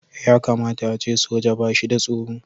Ya kamata a ce soja ba shi da tsoro.